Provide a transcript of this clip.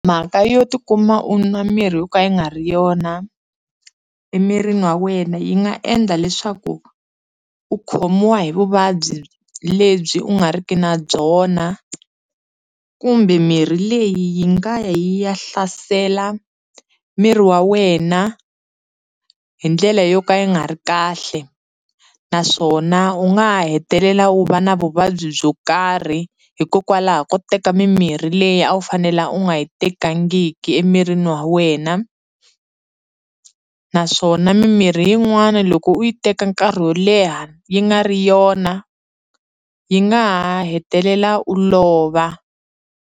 Mhaka yo tikuma u nwa miri yo ka yi nga ri yona emirini wa wena yi nga endla leswaku u khomiwa hi vuvabyi lebyi u nga ri ki na byona kumbe mirhi leyi yi nga ya hlasela miri wa wena hi ndlela yo ka yi nga ri kahle naswona u nga ha hetelela u va na vuvabyi byo karhi hikokwalaho ko teka mimirhi leyi a wu fanela u nga yi tekangiki emirini wa wena naswona mimirhi yin'wana loko u yi teka nkarhi wo leha yi nga ri yona yi nga ha hetelela u lova.